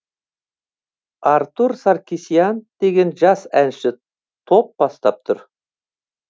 артур саркасиян деген жас әнші топ бастап тұр